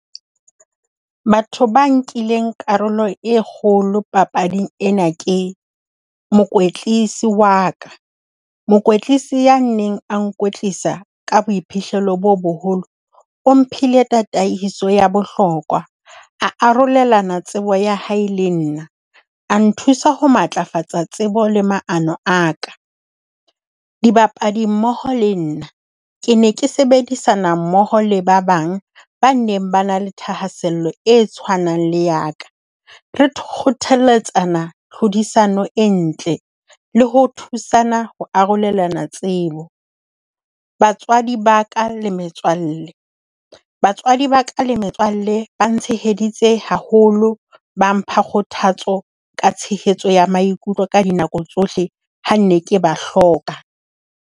Batho ba nkileng karolo e kgolo papading ena ke mokwetlisi wa ka. Mokwetlisi ya neng a nkwetlisa ka boiphihlelo bo boholo, o mphile tataiso ya bohlokwa. A arolelana tsebo ya hae le nna. A nthusa ho matlafatsa tsebo le maano a ka. Dibapadi mmoho le nna, Ke ne ke sebedisana mmoho le ba bang ba neng ba na le thahasello e tshwanang le ya ka. Re kgothaletsa tlhodisano e ntle le ho thusana ho arolelana tsebo. Batswadi ba ka le metswalle, batswadi ba ka le metswalle ba tsheheditse haholo, ba mpha kgothatso ka tshehetso ya maikutlo ka dinako tsohle, ha ne ke ba hloka.